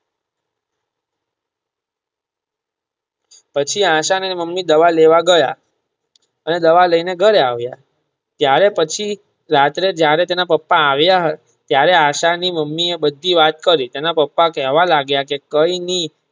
પછી આશા અને તેના અમ્મી દવા લેવા ગયા અને દવા લઈને ઘરે આવિયા ત્યારે પછી રાત્રે જયારે તેના પપા આવિયા ત્યારે આશા ની મમ્મી એ બધી વાત કરી તેના પાપા કહેવા લાગીયા કે કઈ ની.